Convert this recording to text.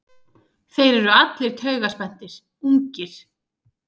Þeir eru allir taugaspenntir, ungir.